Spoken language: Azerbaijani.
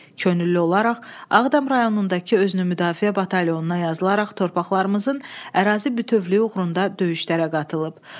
Könüllü olaraq Ağdam rayonundakı özünü müdafiə batalyonuna yazılaraq torpaqlarımızın ərazi bütövlüyü uğrunda döyüşlərə qatılıb.